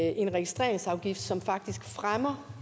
en registreringsafgift som faktisk fremmer